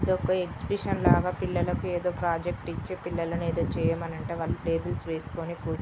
exhibition లాగా పిల్లలకు ఏదో ప్రాజెక్ట్ ఇచ్చి పిల్లలను ఏదో చెయ్యమని అంటే వాళ్ళు టేబుల్స్ వేసుకుని కూర్చొని--